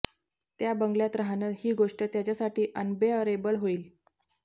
त्या बंगल्यात राहणं ही गोष्ट त्याच्यासाठी अनबेअरेबल होईल